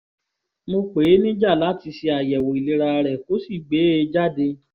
mo pè é níjà láti ṣe àyẹ̀wò ìlera rẹ kó sì gbé e jáde